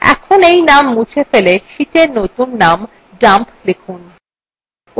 এখন এই name মুছে ফেলে sheetএর নতুন name dump লিখুন